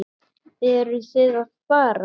Eruð þið að fara?